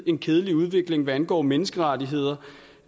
en kedelig udvikling hvad angår menneskerettigheder